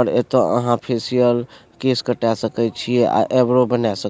और ऐतअ अहां फेसियल केस कटा सके छिये आ एब्रो बना स --